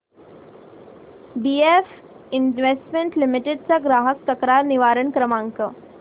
BF investment limited चा ग्राहक तक्रार निवारण क्रमांक